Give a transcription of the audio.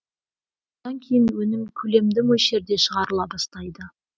бұдан кейін өнім көлемді мөлшерде шығарыла бастайды